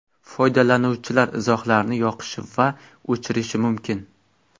Foydalanuvchilar izohlarni yoqishi va o‘chirishi mumkin.